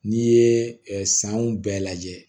N'i ye sanw bɛɛ lajɛ